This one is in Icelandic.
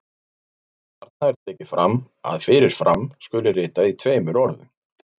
Þarna er tekið fram að fyrir fram skuli ritað í tveimur orðum.